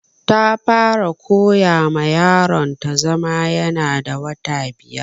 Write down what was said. Ta fara koya ma yaron ta zama ya na da wata biyar